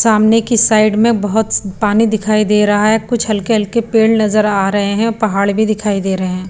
सामने की साइड में बहुत स पानी दिखाई दे रहा है कुछ हल्के-हल्के पेड़ नजर आ रहे हैं पहाड़ भी दिखाई दे रहे हैं।